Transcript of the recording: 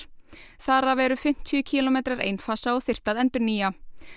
þar af eru um fimmtíu kílómetrar einfasa og þyrfti að endurnýja